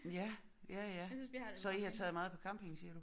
Ja ja ja så i har taget meget på camping siger du?